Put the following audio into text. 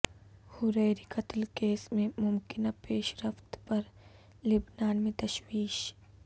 Hariri قتل case میں ممکنہ پیش رفت پر لبنان میں تشویش